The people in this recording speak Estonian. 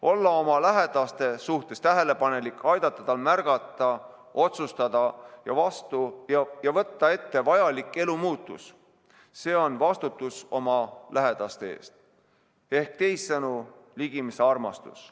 Olla oma lähedase suhtes tähelepanelik, aidata tal märgata, otsustada ja vastu võtta ette vajalik elumuutus – see on vastutus oma lähedase eest ehk teisisõnu ligimesearmastus.